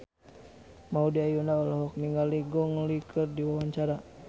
Maudy Ayunda olohok ningali Gong Li keur diwawancara